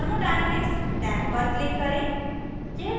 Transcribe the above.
thermodynamics tab पर click करें